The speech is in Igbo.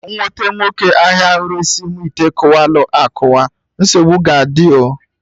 M nwete nwoke ahịa ahụ resị mụ ite kụwalu akụwa, nsogbu ga adị o